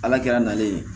Ala kɛra nalen ye